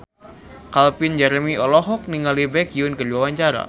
Calvin Jeremy olohok ningali Baekhyun keur diwawancara